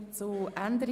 Art. 240c Abs. 1 Bst.